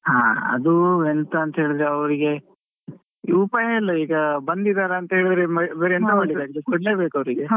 ಹಾ ಅದು ಎಂತಾಅಂತ ಹೇಳಿದ್ರೆ ಅವರಿಗೆ ಉಪಾಯ ಇಲ್ಲ ಈಗ ಬಂದಿದಾರೆ ಅಂತ ಹೇಳಿದ್ರೆ ಬೇರೆ ಎಂತ ಮಾಡ್ಲಿಕ್ ಆಗ್ತದೆ ಕೊಡಲೇಬೇಕು ಅವರಿಗೆ.